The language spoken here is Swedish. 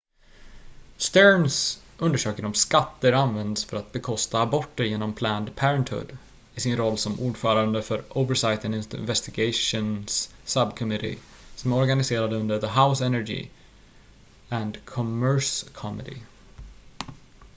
stearns undersöker om skatter används för att bekosta aborter genom planned parenthood i sin roll som ordförande för oversight and investigations subcommittee som är organiserad under the house energy and commerce committee